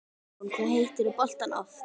Hugrún: Hvað hittirðu boltann oft?